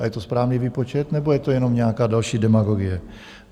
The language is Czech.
A je to správný výpočet, nebo je to jenom nějaká další demagogie?